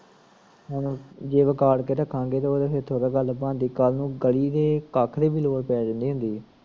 ਹੁਣ, ਜੇ ਵਿਗਾੜ ਕੇ ਰੱਖਾਂਗੇ, ਤੇ ਓ ਫਿਰ ਥੋੜਾ ਗੱਲ ਬਣਦੀ ਆ, ਕਲ ਨੁ ਗਲੀ ਦੇ ਕੱਖ ਤੋਂ ਵੀ ਲੋੜ ਪੈ ਜਾਂਦੀ ਹੁੰਦੀ ਆ